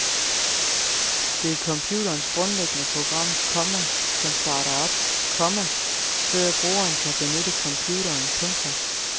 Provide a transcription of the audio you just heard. Det er computerens grundlæggende program, komma som starter op, komma før brugeren kan benytte computeren. punktum